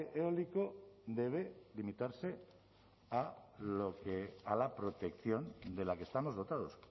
eólico debe limitarse a la protección de la que estamos dotados